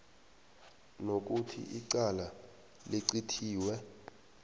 nokuthi icala licithiwe